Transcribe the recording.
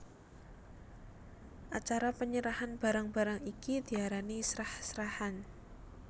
Acara penyerahan barang barang iki diarani srah srahan